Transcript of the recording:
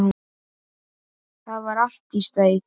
Það var allt í steik.